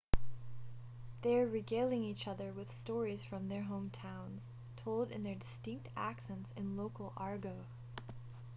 they're regaling each other with stories from their hometowns told in their distinct accents and local argot